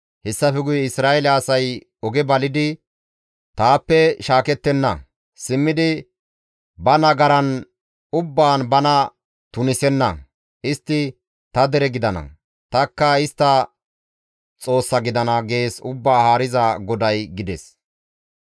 Hessafe guye Isra7eele asay oge balidi taappe shaakettenna; simmidi ba nagaran ubbaan bana tunisenna. Istti ta dere gidana; tanikka istta Xoossa gidana› gees Ubbaa Haariza GODAY» gides.